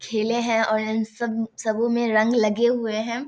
खेले है और इन सब सबो में रंग लगे हुए है।